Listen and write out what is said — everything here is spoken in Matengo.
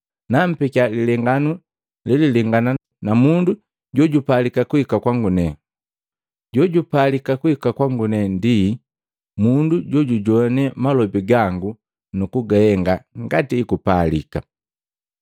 Nampekya lilenganu lelilengana na mundu jojupalika kuhika kwangu nenga. Jojupalika kuhika kwangu ndi mundu jojujoane malobi gangu nakugahenga ngati ekupalika.